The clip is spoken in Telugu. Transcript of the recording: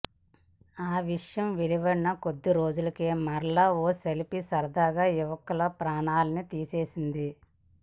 ఆ విషయం వెలువడిన కొద్ది రోజులకే మరల ఓ సేల్ఫీ సరదా యువకుల ప్రాణాలని తీసేసింది